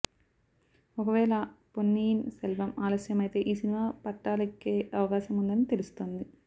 ఒకవేళ పొన్నియిన్ సెల్వం ఆలస్యమైతే ఈ సినిమా పట్టాలెక్కే అవకాశముందని తెలుస్తోంది